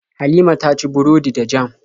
Halima ta ci burodi da jam.